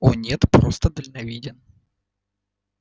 о нет просто дальновиден